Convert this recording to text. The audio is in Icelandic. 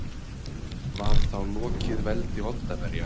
Var þá lokið veldi Oddaverja.